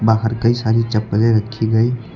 बाहर कई सारी चप्पलें रखी गई--